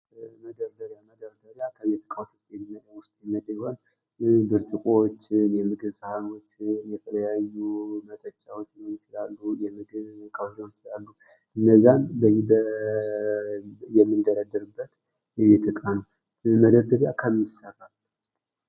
መደርደሪያ፦ መደርደሪያ ከቤት እቃወች ውስጥ የሚመደብ ሲሆን የምግብ ሳህኖች መጠጫወች የለለያዩ እንዚያን የምንደረድርበት የቤት እቃ ነው። ይህ መደርደሪያ ከምን ይሰራል?